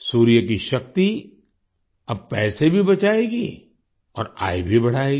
सूर्य की शक्ति अब पैसे भी बचाएगी और आय भी बढ़ाएगी